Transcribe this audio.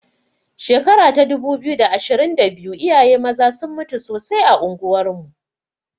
Shekara ta dubu biyu da ashirin da biyu iyaye maza sun mutu sosai a unguwar mu.